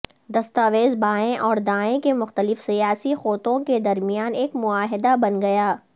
دستاویز بائیں اور دائیں کے مختلف سیاسی قوتوں کے درمیان ایک معاہدہ بن گیا